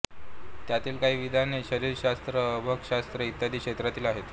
त्यांतील काही विधाने शरीरशास्त्र अर्भकशास्त्र इत्यादी क्षेत्रातील आहेत